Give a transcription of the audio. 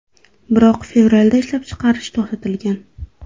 Biroq fevralda ishlab chiqarish to‘xtatilgan.